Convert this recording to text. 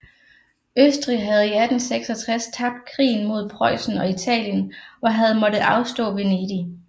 Østrig havde i 1866 tabt krigen mod Preussen og Italien og havde måttet afstå Vendig